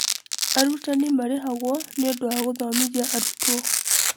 Arutani marĩhagwo nĩũndũ wa gũthomithia arutwo.